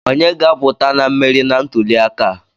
Onye ga-aputa na mmeri na ntuli aka a?